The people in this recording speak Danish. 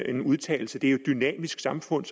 en udtalelse det er dynamisk samfund